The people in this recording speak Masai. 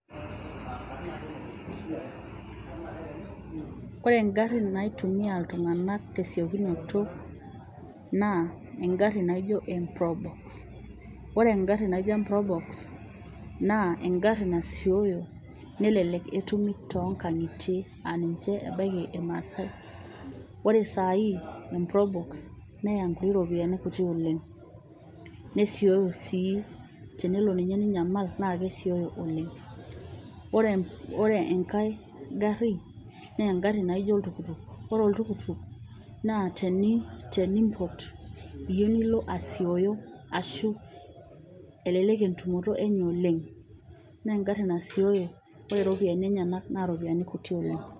Ore egari naitumia iltung'anak tesiokinoto naa egari naijo emprobox. Ore egari naijoo emprobox naa egari nasioyo nelelek etumi tonkang'itie aah ninche abaiki irmaasae. Ore saai emprobox neya inkuti ropiyiani oleng, nesioyo sii tenelo ninye ninyamal naa kesioyo oleng. Oore enkae gari naa egari naijo oltukutuk. Ore oltukutuk naa teniimpot niilo asioyo arashu elelek entumoto eenye oleng, naa egari nasiooyo ore iropiyiani enyenak naa kelelek oleng.